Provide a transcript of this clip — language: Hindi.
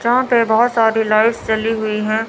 यहां पे बहोत सारी लाइट्स जली हुई है।